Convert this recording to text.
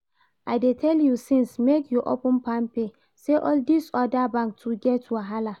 I dey tell you since make you open palmpay, sey all this other bank too get wahala